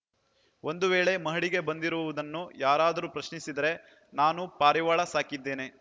ಒಂದು ವೇಳೆ ಮಹಡಿಗೆ ಬಂದಿರುವುದನ್ನು ಯಾರಾದರೂ ಪ್ರಶ್ನಿಸಿದರೆ ನಾನು ಪಾರಿವಾಳ ಸಾಕಿದ್ದೇನೆ